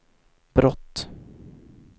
brott